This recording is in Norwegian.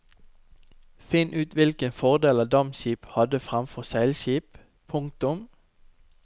Finn ut hvilke fordeler dampskip hadde fremfor seilskip. punktum